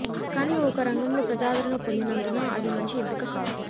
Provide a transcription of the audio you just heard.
కానీ ఒక రంగంలో ప్రజాదరణ పొందినందున అది మంచి ఎంపిక కాదు